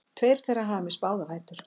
Tveir þeirra hafa misst báða fætur